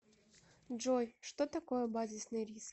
джой что такое базисный риск